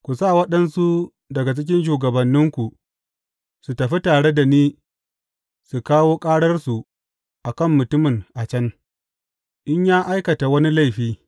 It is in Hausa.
Ku sa waɗansu daga cikin shugabanninku su tafi tare da ni su kawo ƙararsu a kan mutumin a can, in ya aikata wani laifi.